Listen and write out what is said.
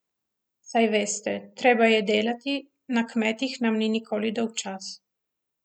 Saj veste, treba je delati, na kmetih nam ni nikoli dolgčas.